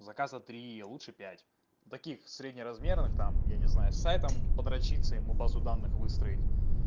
заказа три а лучше пять таких среднеразмерных там я не знаю с сайтом подрачиться ему базу данных выстроить